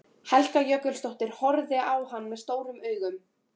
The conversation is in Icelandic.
Helga Jökulsdóttir horfði á hann stórum augum.